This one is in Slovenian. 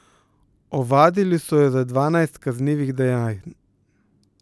Ovadili so ju za dvanajst kaznivih dejanj.